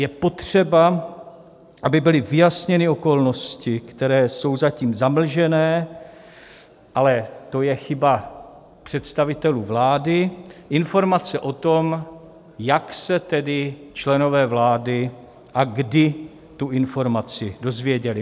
Je potřeba, aby byly vyjasněny okolnosti, které jsou zatím zamlžené, ale to je chyba představitelů vlády, informace o tom, jak se tedy členové vlády a kdy tu informaci dozvěděli.